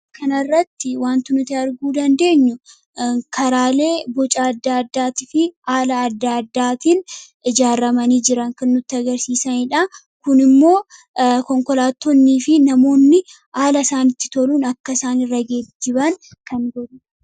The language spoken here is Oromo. Kana irratti wanti nuti arguu dandeenyu, karaalee boca addaa addaa fi haala addaa addaatiin ijaarramanii jiran, kan nutti agarsiisaniidha. Kun immoo konkolaattonnii fi namoonni haala isaanitti toluun akka isaan irra geejibaan kan godhuudha.